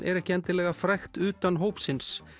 er ekki endilega frægt utan hópsins